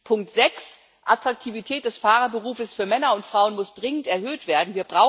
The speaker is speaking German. Punkt sechs Die Attraktivität des Fahrerberufs für Männer und Frauen muss dringend erhöht werden.